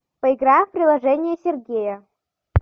поиграем в приложение сергея